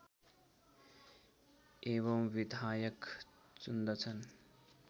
एवं विधायक चुन्दछन्